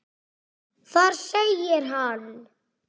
Þar segir hann